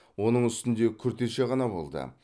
оның үстінде күртеше ғана болды